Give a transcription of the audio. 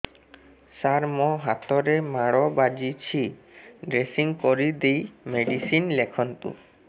ସାର ମୋ ହାତରେ ମାଡ଼ ବାଜିଛି ଡ୍ରେସିଂ କରିଦେଇ ମେଡିସିନ ଲେଖନ୍ତୁ